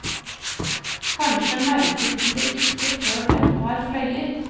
Kanskje merker vi det ikke før den har fløyet.